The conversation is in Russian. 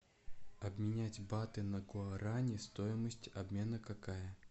обменять баты на гуарани стоимость обмена какая